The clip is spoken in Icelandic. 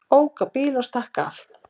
Ók á bíl og stakk af